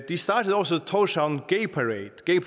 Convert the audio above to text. de startede også thorshavn